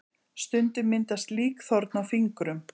Stundum myndast líkþorn á fingrum.